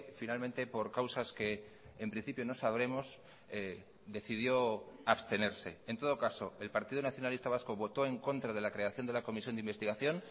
finalmente por causas que en principio no sabremos decidió abstenerse en todo caso el partido nacionalista vasco votó en contra de la creación de la comisión de investigación